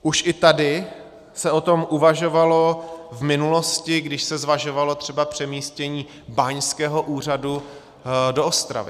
Už i tady se o tom uvažovalo v minulosti, když se zvažovalo třeba přemístění báňského úřadu do Ostravy.